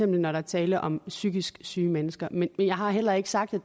når der er tale om psykisk syge mennesker men jeg har heller ikke sagt at